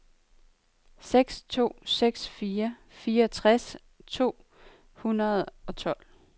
seks to seks fire fireogtres to hundrede og tolv